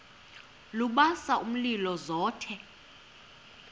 lubasa umlilo zothe